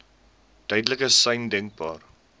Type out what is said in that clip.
duidelikste sein denkbaar